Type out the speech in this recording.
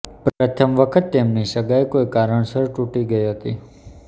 પ્રથમ વખત તેમની સગાઇ કોઇ કારણસર તૂટી ગઇ હતી